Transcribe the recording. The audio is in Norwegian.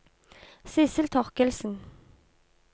Sidsel Torkildsen